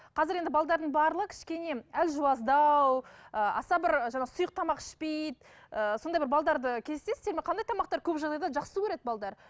қазір енді барлығы кішкене әлжуаздау ыыы аса бір жаңағы сұйық тамақ ішпейді ыыы сондай бір кездесесіздер ме қандай тамақтар көп жағдайда жақсы көреді